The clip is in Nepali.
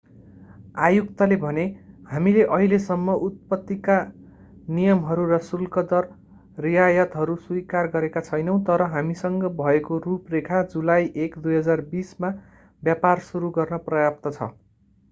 आयुक्तले भने हामीले अहिलेसम्म उत्पत्तिका नियमहरू र शुल्कदर रियायतहरू स्वीकार गरेका छैनौँ तर हामीसँग भएको रूपरेखा जुलाई 1 2020 मा व्यापार सुरु गर्न पर्याप्त छ